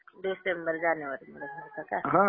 डिसेंबर-जानेवारीमध्ये भरता का?